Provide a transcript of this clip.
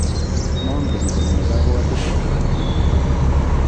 mangen komye kabwotutikwak kenyini